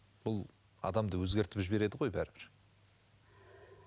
бұл адамды өзгертіп жібереді ғой бәрібір